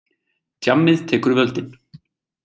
Djammið tekur völdin.